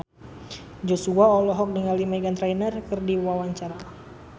Joshua olohok ningali Meghan Trainor keur diwawancara